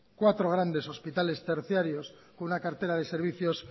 cuatro grandes hospitales terciarios con una cartera de servicios